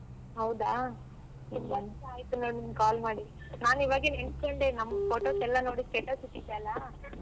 ಹೌದಾ ನೀನ್ call ಮಾಡಿ ನಾನ್ ಇವಾಗೆ ನೆನ್ಸ್ಕೊಂಡೆ ನಮ್ photos ಎಲ್ಲಾ ನೋಡಿ status ಹಾಕಿದ್ಯಲ್ಲ.